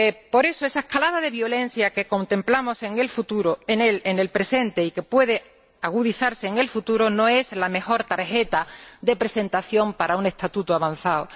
Por eso, esa escalada de violencia que contemplamos en el presente, y que puede agudizarse en el futuro, no es la mejor tarjeta de presentación para un estatuto avanzado.